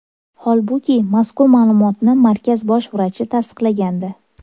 Holbuki, mazkur ma’lumotni markaz bosh vrachi tasdiqlagandi.